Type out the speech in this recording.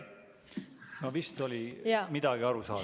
No vist oli midagi aru saada.